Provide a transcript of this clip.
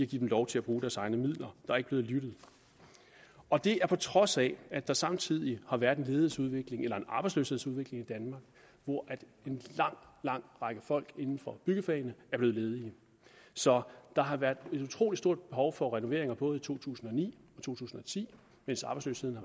give dem lov til at bruge deres egne midler der er ikke blevet lyttet og det på trods af at der samtidig har været en ledighedsudvikling en arbejdsløshedsudvikling i danmark hvor en lang lang række folk inden for byggefagene er blevet ledige så der har været et utrolig stort behov for renovering i både to tusind og ni og to tusind og ti mens arbejdsløsheden